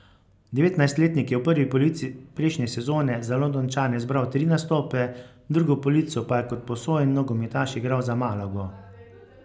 Devetnajstletnik je v prvi polovici prejšnje sezone za Londončane zbral tri nastope, drugo polovico pa je kot posojen nogometaš igral za Malago.